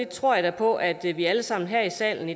tror jeg da på at vi vi alle sammen her i salen